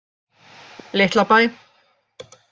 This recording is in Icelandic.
Litlabæ